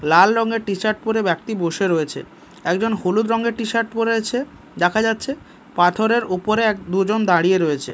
লাল রঙের টি-শার্ট পরে ব্যাক্তি বসে রয়েছে একজন হলুদ রঙের টি-শার্ট পড়ে আছে দেখা যাচ্ছে পাথরের উপরে এক দুজন দাঁড়িয়ে রয়েছে।